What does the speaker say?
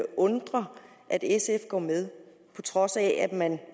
undre at sf går med på trods af at man